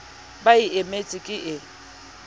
ba e emetseng ke e